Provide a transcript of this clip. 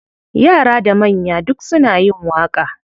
Yara da manya duk suna yin waƙa.